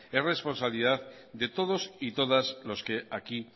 es responsabilidad de todos y todas los que aquí